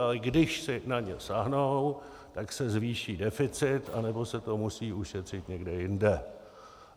Ale když si na ně sáhnou, tak se zvýší deficit, anebo se to musí ušetřit někde jinde.